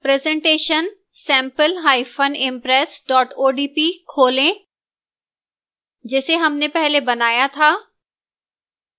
presentation sampleimpress odp खोलें जिसे हमने पहले बनाया था